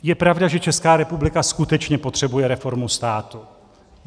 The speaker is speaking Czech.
Je pravda, že Česká republika skutečně potřebuje reformu státu.